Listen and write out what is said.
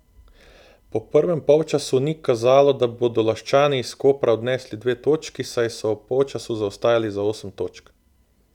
Po prvem polčasu ni kazalo, da bodo Laščani iz Kopra odnesli dve točki, saj so ob polčasu zaostajali za osem točk.